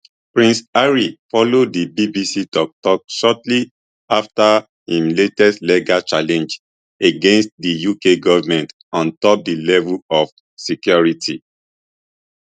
prince harry follow di bbc toktok shortly afta im latest legal challenge against di uk goment on top di level of security